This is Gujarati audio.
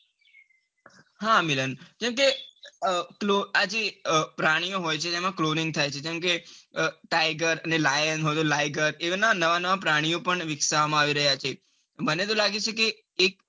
હા મિલન કમ કે આ એ પ્રાણીઓ હોય છે જેમાં cloning થાય છે જેમ કે tiger અને lion હોય તો liger એતો નવા નવા પ્રાણીઓ પણ વિકસવા માં આવી રહ્યા છે. મને તો લાગે છે કે એક